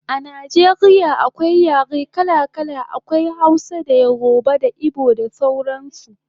A Najeriya akwai yare kala kala, akwai Hausa, yoruba da igbo da sauran su